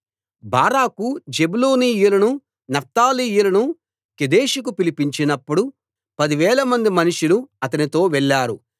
బారాకు జెబూలూనీయులను నఫ్తాలీయులను కెదెషుకు పిలిపించినప్పుడు పదివేలమంది మనుషులు అతనితో వెళ్ళారు